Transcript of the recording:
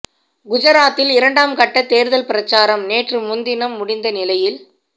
குஜராத்தில் இரண்டாம் கட்ட தேர்தல் பிரச்சாரம் நேற்று முன்தினம் முடிந்த நிலையில்